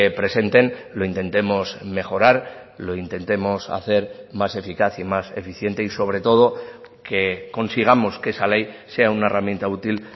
presenten lo intentemos mejorar lo intentemos hacer más eficaz y más eficiente y sobre todo que consigamos que esa ley sea una herramienta útil